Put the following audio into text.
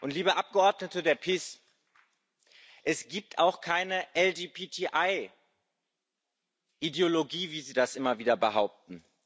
Liebe Abgeordnete der PIS Es gibt auch keine LGBTI Ideologie, wie Sie das immer wieder behaupten.